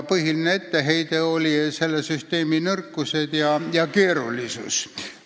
Põhiline etteheide oli selle nõrkused ja keerulisus.